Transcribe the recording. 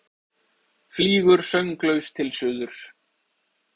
Flýgur sönglaus til suðurs.